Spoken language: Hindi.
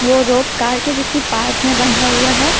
वो रोप कार के किसी पार्ट में बंधा हुआ है।